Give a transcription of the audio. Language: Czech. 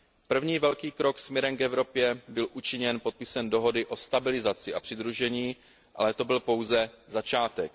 První velký krok směrem k Evropě byl učiněn podpisem dohody o stabilizaci a přidružení, ale to byl pouze začátek.